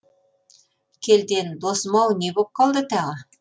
келден досым ау не боп қалды тағы